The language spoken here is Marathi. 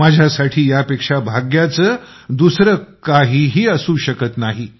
माझ्यासाठी यापेक्षा भाग्याचे दुसरे काहीही असू शकत नाही